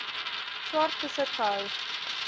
swart besit gehou